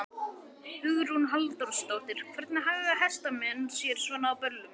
Hugrún Halldórsdóttir: Hvernig haga hestamenn sér svona á böllum?